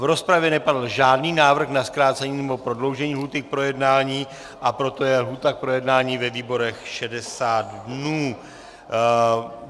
V rozpravě nepadl žádný návrh na zkrácení, nebo prodloužení lhůty k projednání, a proto je lhůta k projednání ve výborech 60 dnů.